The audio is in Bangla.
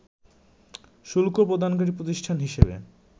শুল্ক প্রদানকারী প্রতিষ্ঠান হিসেবে